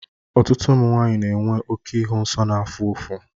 Ọtụtụ ụmụ nwanyị na-enwe oke ịhụ nsọ na-afụ ụfụ.